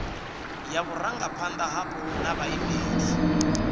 ya vhurangaphanda hapo na vhaimeleli